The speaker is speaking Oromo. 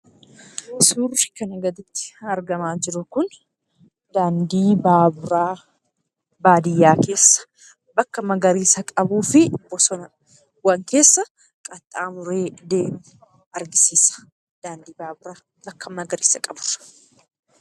Suurri kana irratti argamaa jiru kun daandii baaburaa baadiyyaa keessa, bakka magariisa qabuufi bosonawwan keessa qaxxaamuree deemu argisiisa.